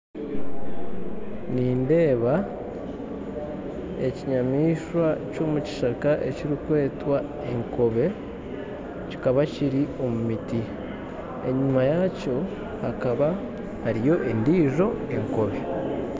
Nindeeba ekinyamaishwa ky'omu kishaka ekirikwetwa enkobe, kikaba kiri omu miti, enyuma yakyo hakaba hariyo endiijo enkobe.